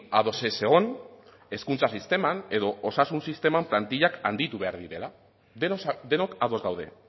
ados ez egon hezkuntza sisteman edo osasun sisteman plantillak handitu behar direla denok ados gaude